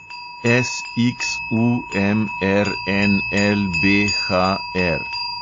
SXUMRNLBHR